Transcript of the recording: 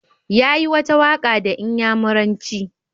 Yayi wata waka da inyamuranci.